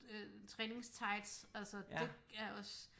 Øh træningstights altså det er også